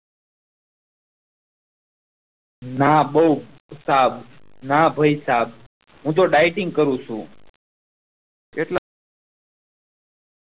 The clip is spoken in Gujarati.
ના બહુ સારું ન પેસા હું તો deiting કરું છું કેટલા